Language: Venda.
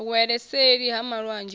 wele seli ha malwanzhe u